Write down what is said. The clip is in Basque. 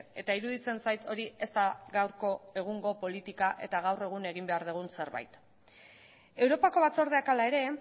eta iruditzen zait hori ez da gaurko egungo politika eta gaur egun egin behar dugun zerbait europako batzordeak hala ere